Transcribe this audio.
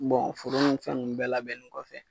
foro ni fɛn nunnu bɛɛ labɛnnen kɔfɛ